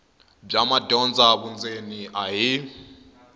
bya madyondza vundzeni a hi